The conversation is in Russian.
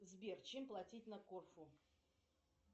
сбер чем платить на корфу